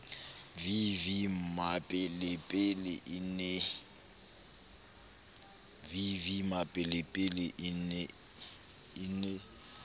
v v mmapelepele e ne